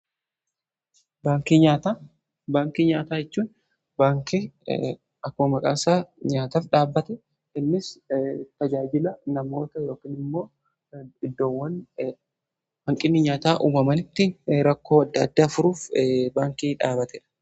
Baankii nyaataa: Baankii nyaataa jechuun akkuma maqaasaa nyaataaf dhaabbate. Innis tajaajila namoota yookiin immoo iddoowwan hanqinni nyaataa uumamanitti rakkoo adda addaa furuuf baankii dhaabbateedha.